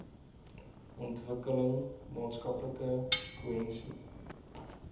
ontwikkel maatskaplike kohesie